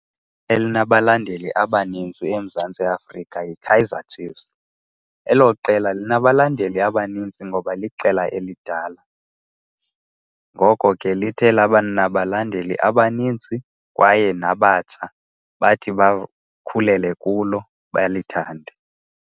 Elinabalandeli abanintsi eMzantsi Afrika yiKaizer Chiefs. Elo qela linabalandeli abanintsi ngoba liqela elidala. Ngoko ke lithe labanabalandeli abanintsi kwaye nabatsha bathi bakhulele kulo balithande.